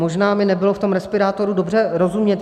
Možná mi nebylo v tom respirátoru dobře rozumět.